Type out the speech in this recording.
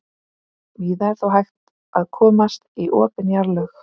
víða er þó hægt að komast í opin jarðlög